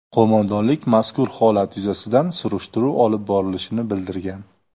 Qo‘mondonlik mazkur holat yuzasidan surishtiruv olib borilishini bildirgan.